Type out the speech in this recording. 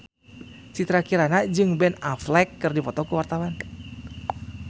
Citra Kirana jeung Ben Affleck keur dipoto ku wartawan